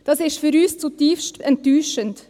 Dies ist für uns zutiefst enttäuschend.